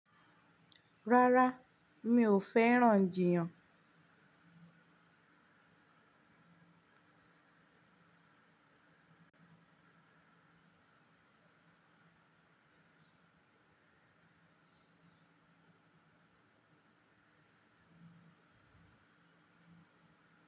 Rárá, mi ò fẹ́ràn jiyan.